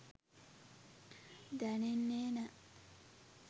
දැනෙන්නේ නෑ